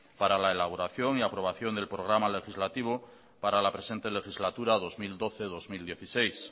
para la elaboración y aprobación del programa legislativo para la presente legislatura dos mil doce dos mil dieciséis